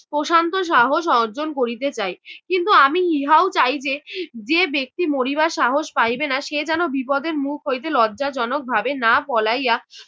প্রশান্ত সাহস অর্জন করিতে চাই। কিন্তু আমি ইহাও চাই যে, যে ব্যক্তি মরিবার সাহস পাইবে না সে যেন বিপদের মুখ হইতে লজ্জাজনক ভাবে না পলাইয়া